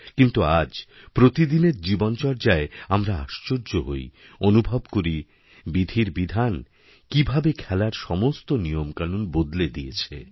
কিন্তু আজ প্রতিদিনের জীবনচর্যায় আমরা আশ্চর্য হইঅনুভব করি বিধির বিধান কীভাবে খেলার সমস্ত নিয়মকানুন বদলে দিয়েছে